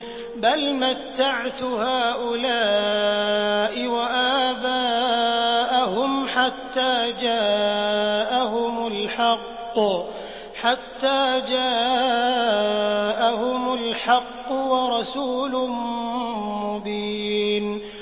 بَلْ مَتَّعْتُ هَٰؤُلَاءِ وَآبَاءَهُمْ حَتَّىٰ جَاءَهُمُ الْحَقُّ وَرَسُولٌ مُّبِينٌ